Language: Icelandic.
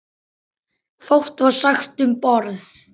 Fátt var sagt um borð.